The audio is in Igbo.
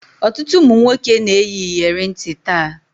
Ọtụtụ ụmụ nwoke na-eyi iyeri ntị taa